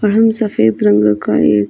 वाहन सफेद रंग का एक --